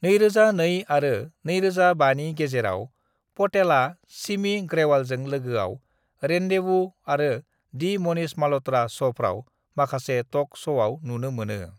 "2002 आरो 2005 नि गेजेराव, पटेला सिमी ग्रेवालजों लोगोआव रेंन्डेवू आरो दि मनीष मल्हत्रा शफ्राव माखासे टक शआव नुनो मोनो।"